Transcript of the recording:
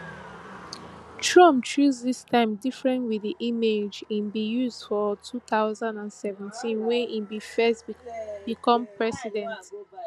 trump choose dis time different wit di image im bin use for two thousand and seventeen wen im bin first become president